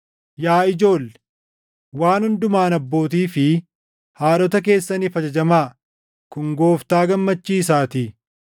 Yaa ijoolle, waan hundumaan abbootii fi haadhota keessaniif ajajamaa; kun Gooftaa gammachiisaatii.